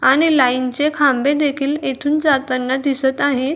आणि लाईन चे खांबे देखील इथून जाताना दिसत आहेत.